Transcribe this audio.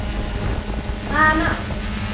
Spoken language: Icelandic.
Hvaða mál?